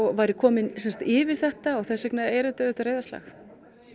væri kominn yfir þetta og þess vegna er þetta auðvitað reiðarslag